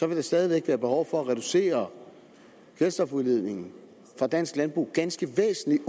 vil der stadig væk være behov for at reducere kvælstofudledningen fra dansk landbrug ganske væsentligt